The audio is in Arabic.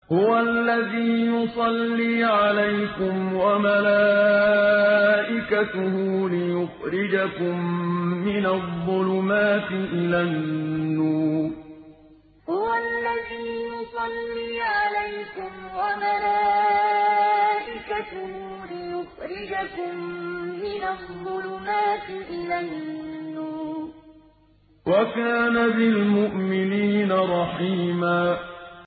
هُوَ الَّذِي يُصَلِّي عَلَيْكُمْ وَمَلَائِكَتُهُ لِيُخْرِجَكُم مِّنَ الظُّلُمَاتِ إِلَى النُّورِ ۚ وَكَانَ بِالْمُؤْمِنِينَ رَحِيمًا هُوَ الَّذِي يُصَلِّي عَلَيْكُمْ وَمَلَائِكَتُهُ لِيُخْرِجَكُم مِّنَ الظُّلُمَاتِ إِلَى النُّورِ ۚ وَكَانَ بِالْمُؤْمِنِينَ رَحِيمًا